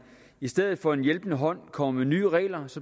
i stedet for at give en hjælpende hånd kommer med nye regler